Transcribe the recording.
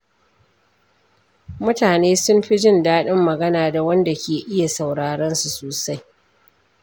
Mutane sun fi jin daɗin magana da wanda ke iya sauraronsu sosai.